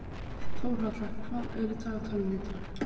Þórhalla, hvað er í dagatalinu í dag?